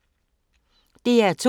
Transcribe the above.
DR2